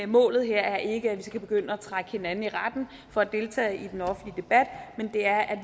målet her er ikke at vi skal begynde at trække hinanden i retten for at deltage i den offentlige debat men det er at